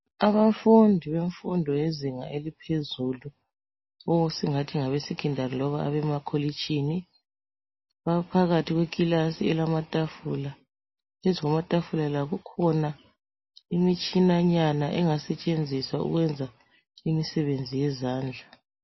Abafundi bemfundo yezinga eliphezulu or esingathi ngabeSecondary loba abemakolitshini baphakathi kwekilasi elamatafula. Phezulu kwamatafula la kukhona imitshinanyana engasetshenziswa ukwenza imisebenzi yezandla.